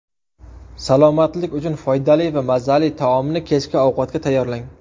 Salomatlik uchun foydali va mazali taomni kechki ovqatga tayyorlang.